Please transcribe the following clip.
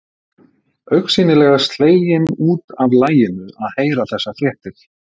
Augsýnilega slegin út af laginu að heyra þessar fréttir.